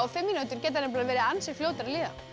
fimm mínútur geta verið ansi fljótar að líða